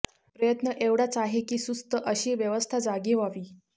प्रयत्न एवढाच आहे की सुस्त अशी व्यवस्था जागी व्हावी